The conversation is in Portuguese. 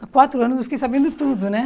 Há quatro anos eu fiquei sabendo tudo, né?